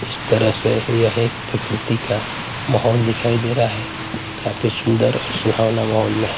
इस तरह से यह एक प्रकृति का माहौल दिखाई दे रहा है काफी सुंदर और सुहावना माहौल में है।